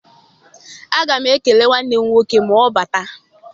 Aga m ekele nwanne m nwoke ma ọ bata.